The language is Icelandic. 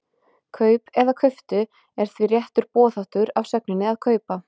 Kaup eða kauptu er því réttur boðháttur af sögninni að kaupa.